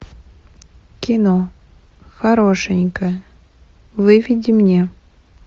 кино хорошенькая выведи мне